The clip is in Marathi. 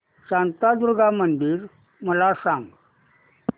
शांतादुर्गा मंदिर मला सांग